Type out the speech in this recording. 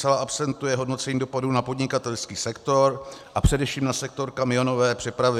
Zcela absentuje hodnocení dopadu na podnikatelský sektor a především na sektor kamionové přepravy.